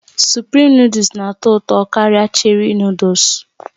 Suprim Nụ́dúls na-atọ ụtọ karịa Cherị Nụ́dúls